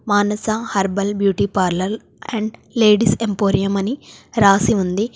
Manasa herbal beauty parlour and ladies emporium అని రాసి ఉంది.